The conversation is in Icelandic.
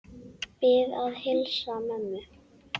Bið að heilsa mömmu.